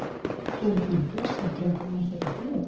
Friðrik minn, blessaður drengurinn, ert þetta þú?